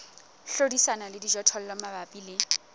hlodisana le dijothollo mabapi le